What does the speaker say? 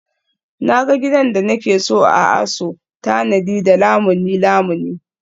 Na ga gidan da nake so a ASO tanadi da Lamuni Lamuni